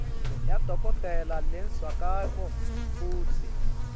yadokotela lechazako kutsi